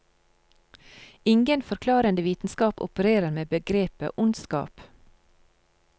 Ingen forklarende vitenskap opererer med begrepet ondskap.